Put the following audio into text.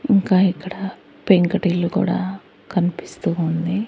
ఇంకా ఇక్కడ పెంకుటిల్లు కూడా కన్పిస్తూ ఉంది.